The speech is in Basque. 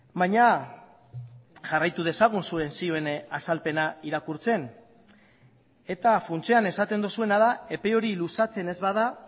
baina jarraitu dezagun zuen zioen azalpena irakurtzen eta funtsean esaten duzuena da epe hori luzatzen ez bada